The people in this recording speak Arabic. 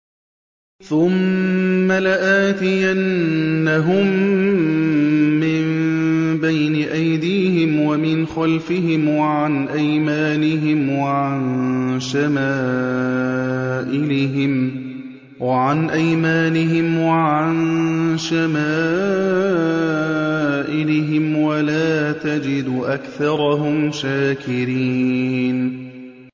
ثُمَّ لَآتِيَنَّهُم مِّن بَيْنِ أَيْدِيهِمْ وَمِنْ خَلْفِهِمْ وَعَنْ أَيْمَانِهِمْ وَعَن شَمَائِلِهِمْ ۖ وَلَا تَجِدُ أَكْثَرَهُمْ شَاكِرِينَ